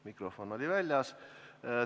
Mikrofon oli väljas.